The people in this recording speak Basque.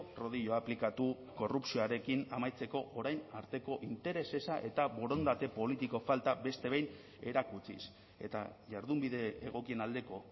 rodilloa aplikatu korrupzioarekin amaitzeko orain arteko interes eza eta borondate politiko falta beste behin erakutsiz eta jardunbide egokien aldeko